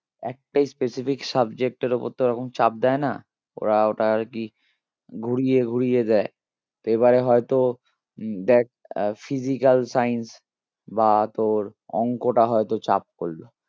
একটা specific subject এর ওপর তো ওরকম চাপ দেয় না ওরা ওটা আরকি ঘুরিয়ে ঘুরিয়ে দেয় এবারে হয়তো উম দেখ আহ physical science বা তোর অঙ্কটা হয়তো চাপ করলো